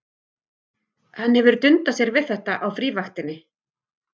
Hann hefur dundað sér við þetta á frívaktinni.